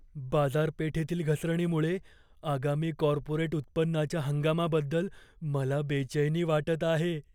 बाजारपेठेतील घसरणीमुळे आगामी कॉर्पोरेट उत्पन्नाच्या हंगामाबद्दल मला बेचैनी वाटत आहे.